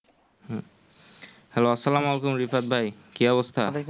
Hello আসলাম ওয়ালাইকুম রিশাদ ভাই কি অবস্থা?